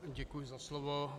Děkuji za slovo.